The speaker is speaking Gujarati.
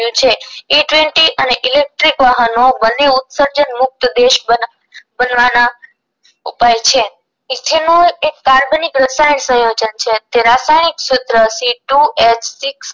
રહ્યું છે જી twenty અને ઇલેક્ટ્રિક વાહનો બંને ઉત્સર્જન મુક્ત દેશ બના બનવાના ઉપાય છે ethanol એક કાર્બનિક રસાયણ સયોજન છે જેનું રાસાયણિક સૂત્ર CTWOHSIX છે